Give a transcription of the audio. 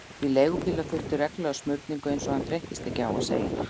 Því leigubílar þurftu reglulega smurningu, eins og hann þreyttist ekki á að segja henni.